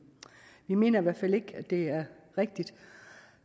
vi mener i hvert fald ikke at det er rigtigt